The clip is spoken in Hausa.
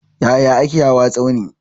Yaya ake hawa tsauni?